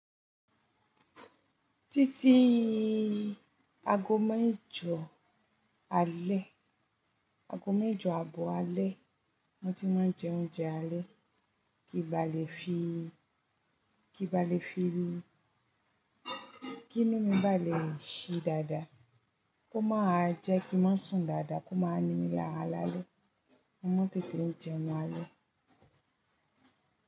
Títí ago mẹ́jọ alẹ́, ago mẹ́jọ abo alẹ́, mo ti mo jẹ oúnjẹ alẹ́. Kí n balẹ̀ fi, kí n balẹ̀ fi, kí mímú balẹ̀ ṣe dada, kó máa jẹ́ kí n mo sùn dada, kó máa ní mí lára lálẹ́. Mo mọ̀ tètè jẹun alẹ́.